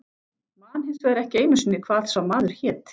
Man hins vegar ekki einu sinni hvað sá maður hét.